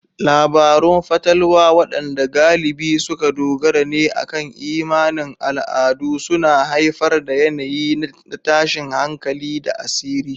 Labarun fatalwa, waɗanda galibi suka dogara ne akan imanin al'adu, suna haifar da yanayi na tashin hankali da asiri.